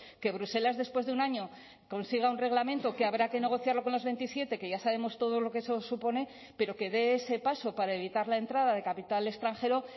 que bruselas después de un año consiga un reglamento que habrá que negociarlo con los veintisiete que ya sabemos todo lo que eso supone pero que dé ese paso para evitar la entrada de capital extranjero